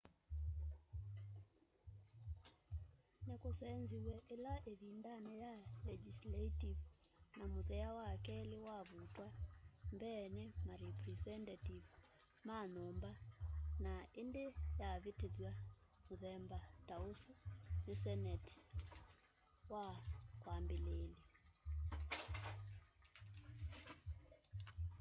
nikusenziw'e ila ivindani ya legisaltive na muthea wa keli wavutwa mbee ni marepresenative ma nyumba na indi yavitithw'a muthemba ta usu ni seneti wa kwambiliilya